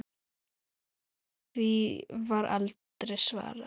Því var aldrei svarað.